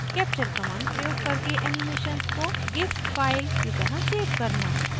capture command प्रयोग करके animations को gif file की तरह सेव करना